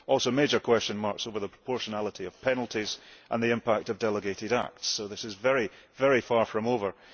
Also, there are major question marks over the proportionality of penalties and the impact of delegated acts, so this is very far from being over.